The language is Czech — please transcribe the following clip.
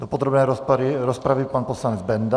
Do podrobné rozpravy pan poslanec Benda.